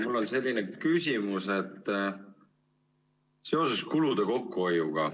Mul on selline küsimus seoses kulude kokkuhoiuga.